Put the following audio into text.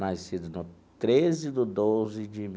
Nascido no treze do doze de